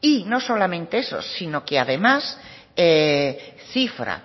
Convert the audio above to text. y no solamente eso sino que además cifra